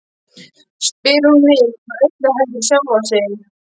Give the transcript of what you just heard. spyr hún mig, eða öllu heldur sjálfa sig.